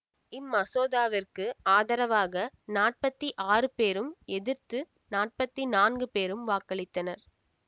இம்மசோதாவிற்கு ஆதரவாக நாற்பத்தி ஆறு பேரும் எதிர்த்து நாற்பத்தி நான்கு பெரும் வாக்களித்தனர்